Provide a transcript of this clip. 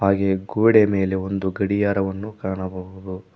ಹಾಗೆಯೇ ಗೋಡೆಯ ಮೇಲೆ ಒಂದು ಗಡಿಯಾರವನ್ನು ಕಾಣಬಹುದು.